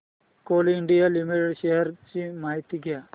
Coal India Limited shares ची माहिती द्या